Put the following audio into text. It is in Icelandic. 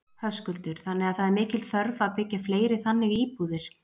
Höskuldur: Þannig að það er mikil þörf að byggja fleiri þannig íbúðir?